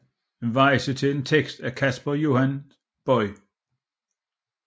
Weyse til en tekst af Casper Johannes Boye